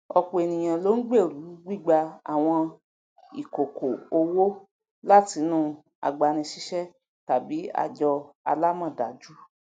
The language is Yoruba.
ọpọ ènìyàn ló ń gbèrú gbígbà àwọn ìkókọ owó látinú agbanisẹ tàbí ajọ alámọdájú